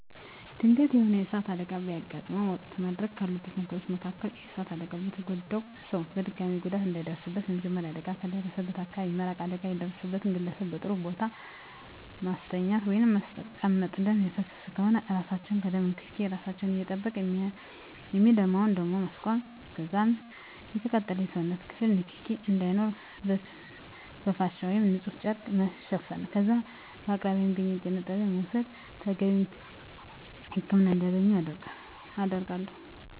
ድንገተኛ የሆነ የእሳት አደጋ በሚያጋጥመን ወቅት ማድረግ ካሉብን ነገሮች መካከል በእሳት አደጋው የተጎዳውን ሰው በድጋሚ ጉዳት እንዳይደርስበት በመጀመሪያ አደጋው ከደረሰበት አካባቢ መራቅ አደጋ የደረሰበትን ግለሰብ በጥሩ ቦታ ማስተኛት ወይንም ማስቀመጥ ደም እየፈሰሰ ከሆነ እራሳችን ከደም ንክኬ እራሳችን እየጠበቅን የሚደማውን ደም ማስቆም ከዛም የተቃጠለውን የሰውነት ክፍል ንክኪ እንዳይኖር በፍሻ ወይም ንፁህ ጨርቅ መሸፈን ከዛም በከአቅራቢያ የሚገኝ የጤና ጣቢያ በመውሰድ ተገቢውን ህክምና እንዲያገኝ አደርጋለሁ።